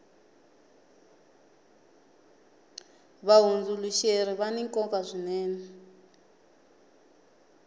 vahundzuluxeri vani nkoka swinene